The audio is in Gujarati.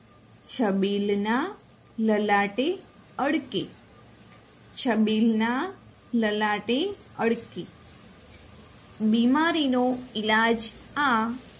છબીલના લલાટે અળકે છબીલના લલાટે અળકે બીમારીનો ઈલાજ આ